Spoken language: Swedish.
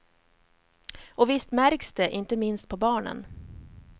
Och visst märks det, inte minst på barnen.